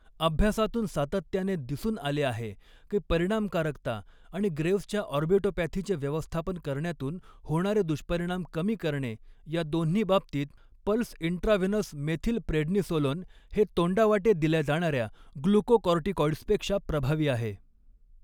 अभ्यासांतून सातत्याने दिसून आले आहे की परिणामकारकता आणि ग्रेव्सच्या ऑर्बिटोपॅथीचे व्यवस्थापन करण्यातून होणारे दुष्परिणाम कमी करणे या दोन्ही बाबतीत पल्स इंट्राव्हेनस मेथिलप्रेडनिसोलोन हे तोंडावाटे दिल्या जाणाऱ्या ग्लुकोकॉर्टिकॉइड्सपेक्षा प्रभावी आहे.